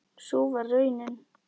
Sú varð raunin.